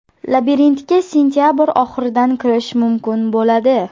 Labirintga sentabr oxiridan kirish mumkin bo‘ladi.